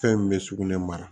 Fɛn min bɛ sugunɛ mara